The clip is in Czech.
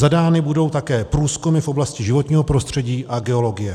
Zadány budou také průzkumy v oblasti životního prostředí a geologie.